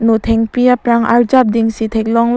nothengpi aprang arjap ding si theklonglo.